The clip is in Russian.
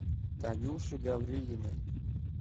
танюши гаврилиной